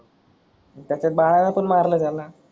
तसेच बाळानं पण मारल त्याला.